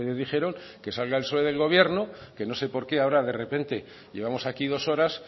dijeron que salga el sol en el gobierno que no sé por qué ahora de repente llevamos aquí dos horas